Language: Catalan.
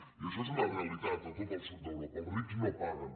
i això és una realitat a tot el sud d’europa els rics no paguen